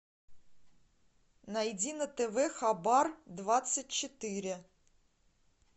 найди на тв хабар двадцать четыре